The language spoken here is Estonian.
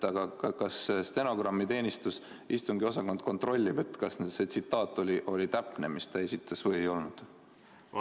Aga kas stenogrammiteenistus või istungiosakond kontrollib, kas see tsitaat oli täpne, mis ta esitas, või ei olnud?